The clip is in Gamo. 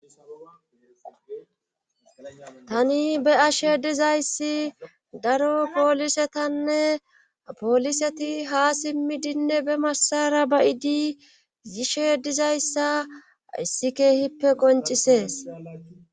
Tani be ashe dizayssi daro poolisetanne pooliseti ha simmidinne be masara bayidi yishe dizayssa issi keehippe qoncisees.